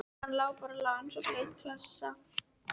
Hann lá bara og lá eins og blaut klessa.